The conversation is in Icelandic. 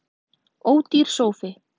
Ódýr sófi